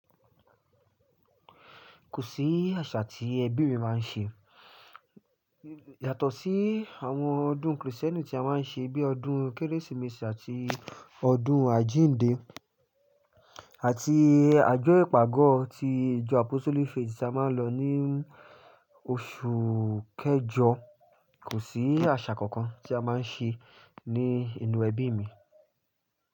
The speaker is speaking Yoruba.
Kò sí àṣà tí ẹbí mi máa ń ṣe. Yàtọ̀ sí àwọn ọdún Kristẹni tí a máa ń ṣe bíi ọdún Kérésìmesì àti ọdún Àjíǹde àti àjọyọ̀ ìpàgọ́ ti ìjọ Apostle fetí tí a máa ń lọ ní oṣù kẹjọ. Kò sí àṣà kankan tí a máa ń ṣe ní inú ẹbí mi.